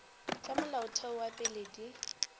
tša molaotheo wa pele di